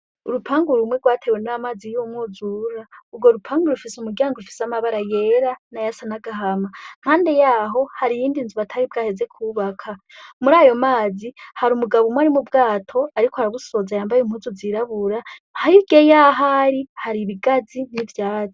Urupangu rumwe gwatewe n' amazi y'umwuzura. Ugwo rupangu rufise umuryango ufise amabara yera n'ayasa n'agahama. Impande yaho hari iyindi nzu batari bwaheze kwubaka. Murayo mazi, hari umugabo umwe ari mubwato ariko arabusoza yambaye impuzu zirabura hirya yaho ari hari ibigazi n'ivyatsi.